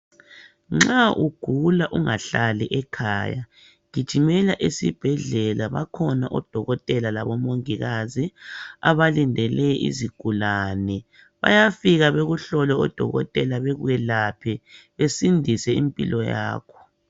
Nxa ugula ungahlali ekhaya gijimela esibhedlela bakhona odokotela labomongikazi abalindele izigulane, bayafika bekuhlole odokotela bakwelaphe besindise impilo yakho.